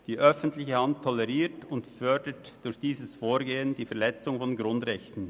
Die öffentliche Hand toleriert und fördert durch dieses Vorgehen die Verletzung von Grundrechten.